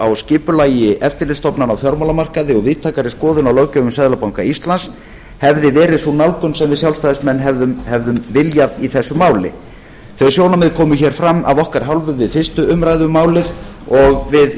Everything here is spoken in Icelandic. á skipulagi eftirlitsstofnana á fjármálamarkaði og víðtækari skoðun á löggjöf um seðlabanka íslands hefði verið sú nálgun sem við sjálfstæðismenn hefðum viljað í þessu máli þau sjónarmið komu hér fram af okkar hálfu við fyrstu umræðu um málið og við